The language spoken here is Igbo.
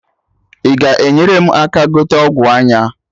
I ga enyere m aka gote ọgwụ anya?